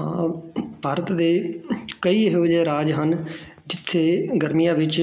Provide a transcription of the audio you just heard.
ਹਾਂ ਭਾਰਤ ਦੇ ਕਈ ਅਜਿਹੇ ਰਾਜ ਹਨ ਜਿੱਥੇ ਗਰਮੀਆਂ ਵਿੱਚ